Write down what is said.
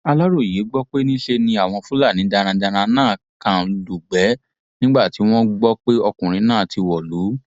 aláròye gbọ pé níṣe ni àwọn fúlàní darandaran náà kàn lugbe nígbà tí wọn gbọ pé ọkùnrin náà ti wọlú